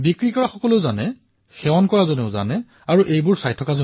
এয়া বিক্ৰেতাও জানে পান কৰোতা জনেও জানে আৰু দেখা জনেও জানে